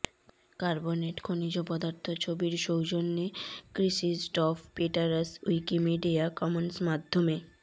carbonate খনিজ পদার্থ ছবির সৌজন্যে ক্রিসিজটফ পিটারস উইকিমিডিয়া কমন্স মাধ্যমে